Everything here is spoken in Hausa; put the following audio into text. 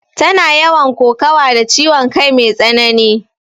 Tana yawan kokawa da ciwon kai mai tsanani